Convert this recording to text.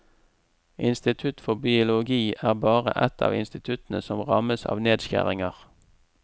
Institutt for biologi er bare ett av instituttene som rammes av nedskjæringer.